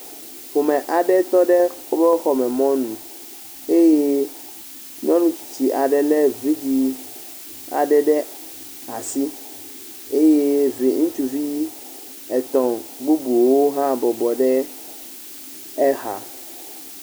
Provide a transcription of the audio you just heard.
Ƒome aɖe tɔ ɖe woƒe xɔme mɔnu. Eye nyɔnu tsitsi aɖe lé vidzɛ̃ ɖe asi. Eye vi ŋutsuvi etɔ̃ bubuwo hã bɔbɔ ɖe exa.